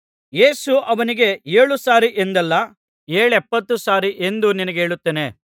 ಯೇಸು ಅವನಿಗೆ ಏಳು ಸಾರಿ ಎಂದಲ್ಲ ಏಳೆಪ್ಪತ್ತು ಸಾರಿ ಎಂದು ನಿನಗೆ ಹೇಳುತ್ತೇನೆ